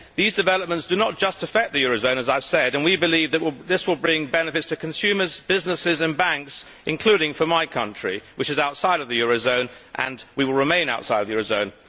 These developments do not just affect the euro zone, as I have said, and we believe that this will bring benefits to consumers, businesses and banks, including for my country, which is outside of the eurozone and will remain outside of the eurozone.